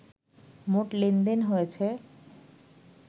মোট লেনদেন হয়েছে